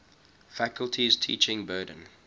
faculty's teaching burden